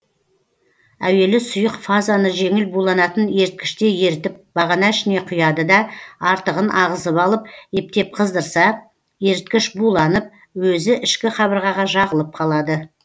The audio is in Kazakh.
әуелі сұйық фазаны жеңіл буланатын еріткіште ерітіп бағана ішіне құяды да артығын ағызып алып ептеп қыздырса еріткіш буланып өзі ішкі қабырғаға жағылып қалады